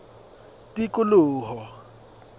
tikoloho